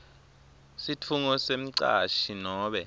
sifungo semcashi nobe